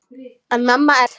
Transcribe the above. En mamma er ágæt.